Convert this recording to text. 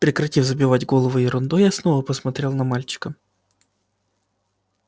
прекратив забивать голову ерундой я снова посмотрел на мальчика